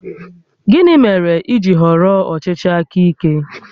Gịnị mere i ji họrọ ọchịchị aka ike?